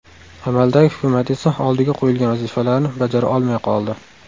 Amaldagi hukumat esa oldiga qo‘yilgan vazifalarni bajara olmay qoldi.